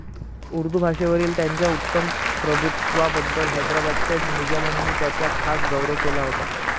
उर्दू भाषेवरील त्यांच्या उत्तम प्रभुत्वाबद्दल हैदराबादच्या निजामांनी त्यांचा खास गौरव केला होता.